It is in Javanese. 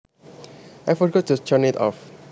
I forgot to turn it off